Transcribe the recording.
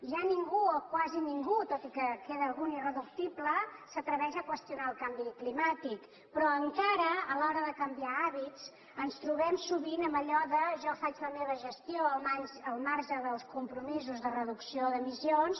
ja ningú o quasi ningú tot i que queda algun irreductible s’atreveix a qüestionar el canvi climàtic però encara a l’hora de canviar hàbits ens trobem sovint amb allò de jo faig la meva gestió al marge dels compromisos de reducció d’emissions